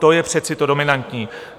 To je přece to dominantní.